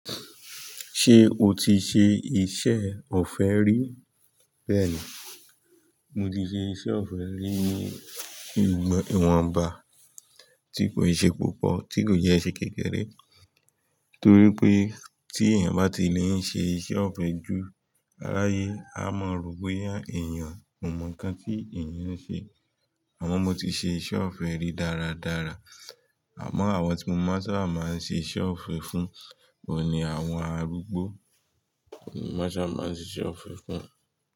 Ṣé o ti ṣe iṣẹ́ ọ̀fẹ́ rí? Bẹ́ẹ̀ni, mo ti ṣe iṣẹ́ ọ̀fẹ́ rí ní ìwọ̀n ba, tí kò ì ṣe púpọ̀, tí kò jẹ́ iṣẹ́ kékeré. Nítorí pé tí èèyàn bá ti lè ń ṣe iṣẹ́ ọ̀fẹ́ ju aráyé, a máa rò ó pé èèyàn kò mọ nǹkan tí èèyàn ń ṣe. Àmọ́ mo ti ṣe iṣẹ́ ọ̀fẹ́ rí dáradára. Àmọ́ àwọn tí mo máa ń sábà máa ń ṣe iṣẹ́ ọ̀fẹ́ fún wọn ni àwọn arúgbó. Mo máa ń sábà, máa ń ṣe iṣẹ́ ọ̀fẹ́ fún wọn.